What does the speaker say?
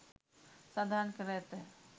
සඳහන් කර ඇත.